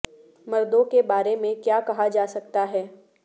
مردوں کے بارے میں کیا کہا جا سکتا ہے